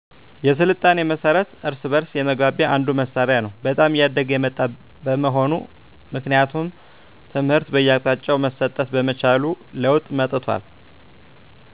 የሥልጣኔ መሠረት እርስ በእርስ የመግባቢያ አንዱ መሣሪያ ነው በጣም እያደገ የመጣ መሆኑ ምክንያቱም ትምህር በየአቅጣጫው መሠጠት በመቻሉ ለወጥ መጠቷል